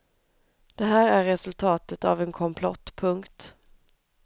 Det här är resultatet av en komplott. punkt